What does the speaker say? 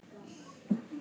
Myndun og mótun lands